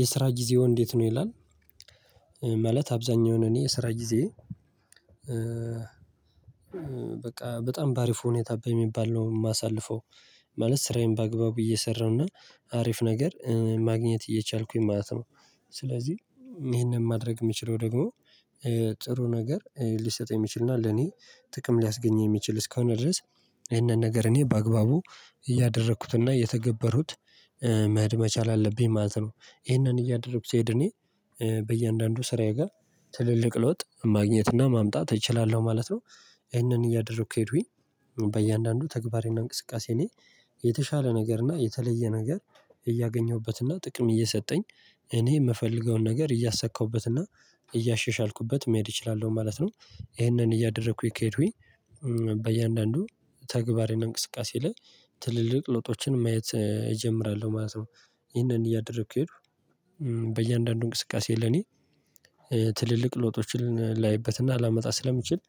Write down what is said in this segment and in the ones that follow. የስራ ጊዜዎ እንዴት ነው ይላል? ማለት አብዛኛውን እኔ የስራ ጊዜዬ በቃ በጣም በአሪፍ ሁኔታ በሚባል ነው የማሳልፈው። ማለት ስራዬን በአግባቡ እየሰራሁ እና አሪፍ ነገር ማግኘት እየቻልኩኝ ማለት ነው። ስለዚህ ይሄንን ማድረግ የምችለው ደግሞ ጥሩ ነገር ሊሰጥ የሚችል እና ለኔ ጥቅም ሊያስገኝ የሚችል እስከሆነ ድረስ ይህንን ነገር እኔ በአግባቡ እያደረኩት እና እየተገበርሁት መሄድ መቻል አለብኝ ማለት ነው። ይህንን እያደረኩ ስሄድ እኔ በእያንዳንዱ ስራዬ ጋር ትልልቅ ለውጥ ማግኘት እና ማምጣት እችላለሁ ማለት ነው። ይሄንን እያደረኩ ከሄድኩኝ በእያንዳንዱ ተግባር እና እንቅስቃሴ እኔ የተሻለ ነገር እና የተለየ ነገር እያገኘሁበት እና ጥቅም እየሰጠኝ እኔ የምፈልገውን ነገር እያሳካሁበት እና እያሻሻልኩበት መሄድ እችላለሁ ማለት ነው። ይሄንን እያደረኩኝ ከሄድኩኝ በእያንዳንዱ ተግባሬ እና እንቅስቃሴ ላይ ትልልቅ ለውጦችን ማየት እጀምራለሁ ማለት ነው። ይሄንን እያደረኩ ከሄድኩ በእያንዳንዱ እንቅስቃሴ ለኔ ትልልቅ ለውጦችን ላይበት እና ላመጣ ስለምችል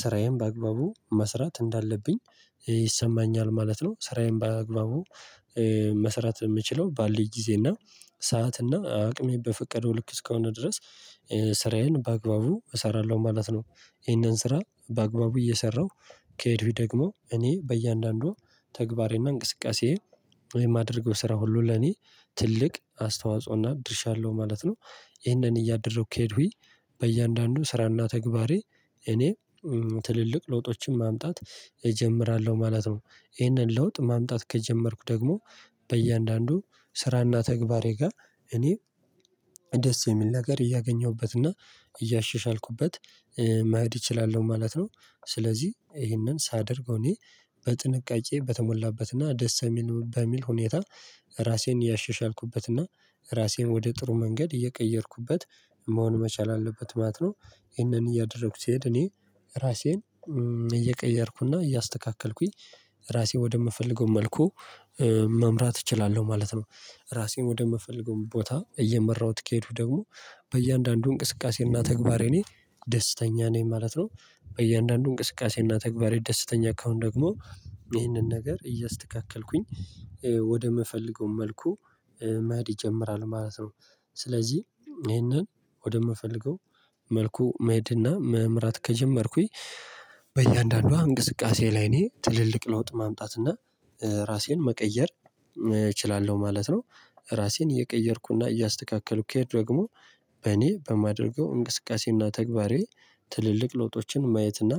ስራዬን በአግባቡ መስራት እንዳለብኝ ይሰማኛል ማለት ነው። ስራዬን በአግባቡ መስራት የምችለው ባለኝ ጊዜ እና ሰዓት እና አቅሜ በፈቀደው ልክ እስከሆነ ድረስ ስራዬን በአግባቡ እሰራለሁ ማለት ነው። ይሄንን ስራ በአግባቡ እየሰራሁ ከሄድኩኝ ደግሞ እኔ በእያንዳንዱ ተግባሬ እና እንቅስቃሴዬ የማደርገው ስራ ሁሉ ለኔ ትልቅ አስተዋጽኦ እና ድርሻ አለሁ ማለት ነው። ይህንን እያደረግኩ ከሄድኩኝ በእያንዳንዱ ስራ እና ተግባሬ እኔ ትልልቅ ለውጦችን ማምጣት እጀምራለሁ ማለት ነው። ይሄንን ለውጥ ማምጣት ከጀመርኩ ደግሞ በእያንዳንዱ ስራ እና ተግባሬ ጋር እኔ ደስ የሚል ነገር እያገኘሁበት እና እያሸሻልኩበት መሄድ እችላለሁ ማለት ነው። ስለዚህ ይሄንን ሳደርገው እኔ በጥንቃቄ በተሞላበት እና ደስ የሚል በሚል ሁኔታ ራሴን እያሸሻልኩበት እና ራሴን ወደ ጥሩ መንገድ እየቀየርኩበት መሆን መቻል አለበት ማለት ነው። ይሄንን እያደረኩ ስሄድ እኔ ራሴን እየቀየርኩ እና እያስተካከልኩኝ ራሴን ወደምፈልገው መልኩ መምራት እችላለሁ ማለት ነው። ራሴን ወደምፈልገው ቦታ እየመራሁት ከሄድኩ ደግሞ በእያንዳንዱ እንቅስቃሴ እና ተግባሬ እኔ ደስተኛ ነኝ ማለት ነው። በእያንዳንዱ እንቅስቃሴ እና ተግባሬ ደስተኛ ከሆነ ደግሞ ይህንን ነገር እያስተካከልኩኝ ወደምፈልገው መልኩ መሄድ ይጀምራል ማለት ነው። ስለዚህ ይሄንን ወደምፈልገው መልኩ መሄድ እና መምራት ከጀመርኩኝ በእያንዳንዷ እንቅስቃሴ ላይ እኔ ትልልቅ ለውጥ ማምጣት እና ራሴን መቀየር እችላለሁ ማለት ነው። ራሴን እየቀየርኩ እና እያስተካከልኩ ከሄድኩ ደግሞ በእኔ በማደርገው እንቅስቃሴ እና ተግባሬ ትልልቅ ለውጦችን ማየት እና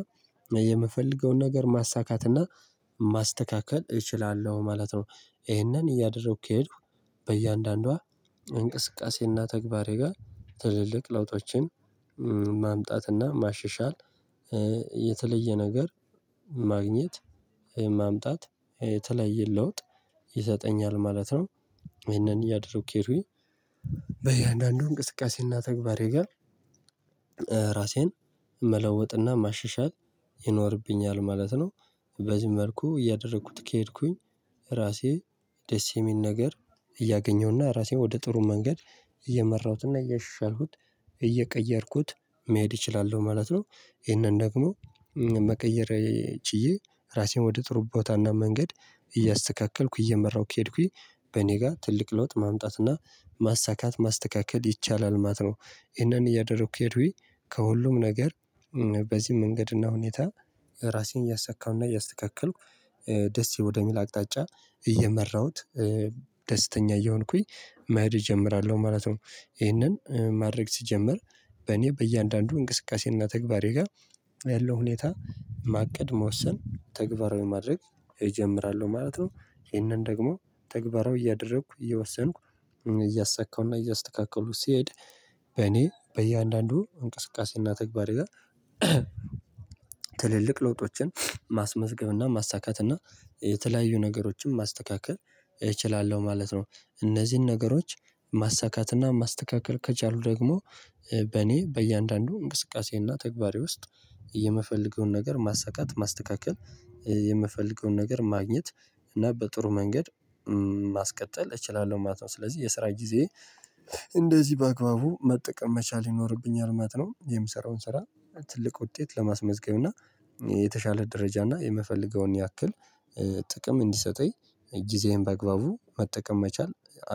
የምፈልገውን ነገር ማሳካት እና ማስተካከል እችላለሁ ማለት ነው። ይሄንን እያደረኩ ከሄድኩ በእያንዳንዷ እንቅስቃሴ እና ተግባሬ ጋር ትልልቅ ለውጦችን ማምጣት እና ማሸሻል የተለየ ነገር ማግኘት ማምጣት የተለያየ ለውጥ ይሰጠኛል ማለት ነው። ይሄንን እያደረጉ ከሄድኩኝ በእያንዳንዱ እንቅስቃሴ እና ተግባሬ ጋር ራሴን መለወጥ እና ማሽሻል ይኖርብኛል ማለት ነው። በዚህ መልኩ እያደረኩት ከሄድኩኝ ራሴ ደስ የሚል ነገር እያገኘሁ እና ራሴን ወደ ጥሩ መንገድ እየመራሁት እና እያሸሻልኩት እየቀየርኩት መሄድ እችላለሁ ማለት ነው። ይሄንን ደግሞ መቀየር ችዬ ራሴን ወደ ጥሩ ቦታ እና መንገድ እያስተካከልኩ እየመራሁ ከሄድኩኝ በእኔ ጋር ትልቅ ለውጥ ማምጣት እና ማሳካት ማስተካከል ይቻላል ማለት ነው። ይሄንን እያደረኩ ከሄድኩኝ ከሁሉም ነገር በዚህ መንገድ እና ሁኔታ ራሴን እያሳካሁ እና እያስተካከልኩ ደስ ወደሚል አቅጣጫ እየመራሁት ደስተኛ እየሆንኩኝ መሄድ እጀምራለሁ ማለት ነው። ይሄንን ማድረግ ስጀምር በእኔ በእያንዳንዱ እንቅስቃሴ እና ተግባሬ ጋር ያለው ሁኔታ ማቀድ መወሰን ተግባራዊ ማድረግ እጀምራለሁ ማለት ነው። ይሄንን ደግሞ ተግባራዊ እያደረኩ እየወሰንኩ እያሳካው እና እያስተካከሉ ስሄድ በእኔ በእያንዳንዱ እንቅስቃሴ እና ተግባሬ ጋር ትልልቅ ለውጦችን ማስመዝገብ እና ማሳካት እና የተለያዩ ነገሮችን ማስተካከል እችላለሁ ማለት ነው። እነዚህን ነገሮች ማሳካት እና ማስተካከል ከቻልሁ ደግሞ በእኔ በእያንዳንዱ እንቅስቃሴ እና ተግባሬ ውስጥ የምፈልገውን ነገር ማሳካት ማስተካከል የምፈልገውን ነገር ማግኘት እና በጥሩ መንገድ ማስቀጠል እችላለሁ ማለት ነው። ስለዚህ የስራ ጊዜዬ እንደዚህ በአግባቡ መጠቀም መቻል ይኖርብኛል ማለት ነው። የምሰራውን ስራ ትልቅ ውጤት ለማስመዝገብ እና የተሻለ ደረጃ እና የምፈልገውን ያክል ጥቅም እንዲሰጠኝ ጊዜዬን በአግባቡ መጠቀም መቻል